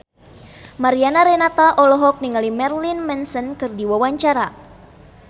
Mariana Renata olohok ningali Marilyn Manson keur diwawancara